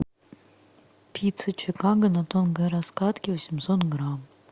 пицца чикаго на тонкой раскатке восемьсот грамм